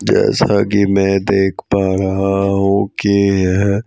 जैसा की मैं देख पा रहा हूं कि यह--